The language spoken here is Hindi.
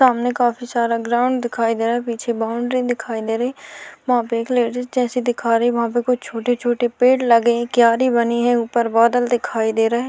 सामने काफी सारा ग्राउंड दिखाई दे रहा है पीछे बाउंड्री दिखाई दे रही है वहाँ पे एक लेडिस जैसी दिखा रही है वहाँ पे कुछ छोटे-छोटे पेड़ लगे है क्यारी बनी है ऊपर बादल दिखाई दे रहे है।